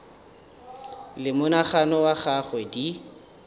le monagano wa gagwe di